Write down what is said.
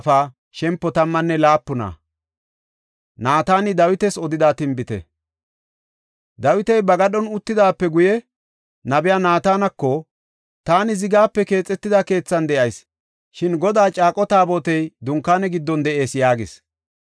Dawiti ba gadhon uttidaape guye nabiya Naatanako, “Taani zigape keexetida keethan de7ayis; shin Godaa caaqo Taabotey dunkaane giddon de7ees” yaagis.